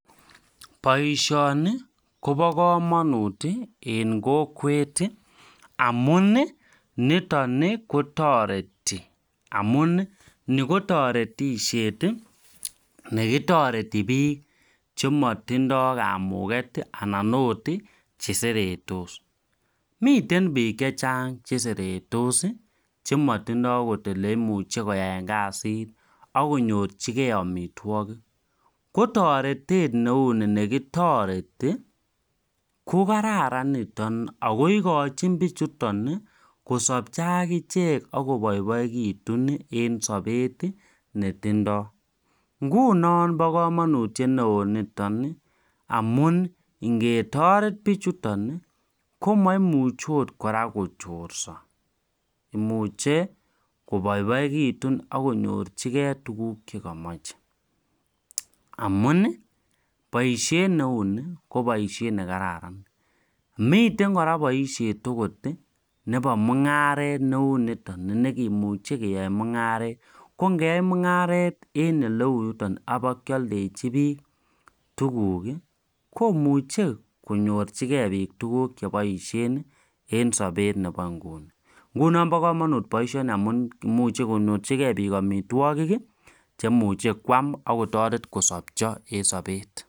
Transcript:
Baishoni Koba kamanut en kokwet amun niton kotareti amun Ni kotaretishet nekitareti bik chematindoi kamuket akot cheseretos miten bik chechang cheseretos chematindoi okot yeleimuche koyaen kasit akinyorchigei amitwagik kotaretet neuni kotareti kokararan niton akoikochin bichuton kosabcho akichek akobaibaikitun en Sabet netindoi ngunon koba kamanutiet neon niton amun ngetoret bichuton komaimuche okot koraa kochorsa imuche kobaibaikitun akonyorchigei chekimache amun baishet neuni ko baishet nekararan miten kora baishet okot neba mungaret neuni nekemuche keyae mungaret kongeyai mungaret en oleu yuton ak kayaldechi bik tuguk komuche konyorchigei bik tuguk cheabaishen en Sabet Nebo inguni nguni koba kamanut baishet koimuche konyorchigei bik amitwagik cheimuche kwam kosabcho en Sabet